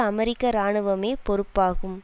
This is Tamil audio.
அமெரிக்க இராணுவமே பொறுப்பாகும்